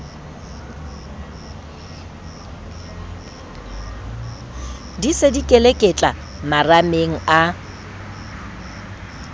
di se dikeleketla marameng a